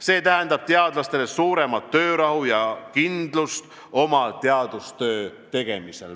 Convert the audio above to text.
See tähendab teadlastele suuremat töörahu ja kindlust oma teadustöö tegemisel.